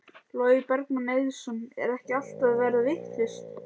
Logi Bergmann Eiðsson: Er ekki allt að verða vitlaust?